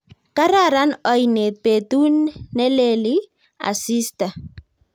kararan oinet petut neleli asista